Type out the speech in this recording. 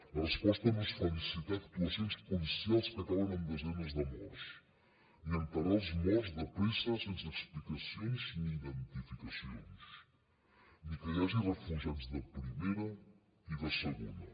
la resposta no és felicitar actuacions policials que acaben amb desenes de morts ni enterrar els morts de pressa sense explicacions ni identificacions ni que hi hagi refugiats de primera i de segona